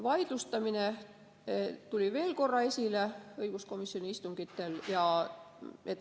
Vaidlustamine tuli õiguskomisjoni istungitel veel korra esile.